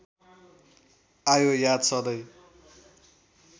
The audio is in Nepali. आयो याद सधैँ